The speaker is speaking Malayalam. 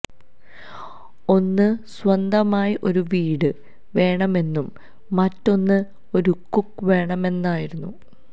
ഒന്ന് സ്വന്തമായി ഒരു വീട് വേണമെന്നും മറ്റൊന്ന് ഒരു കുക്ക് വേണമെന്നുമായിരുന്നു